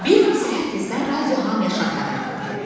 Bir gün səhər tezdən radio hamiyə şad xəbər verdi.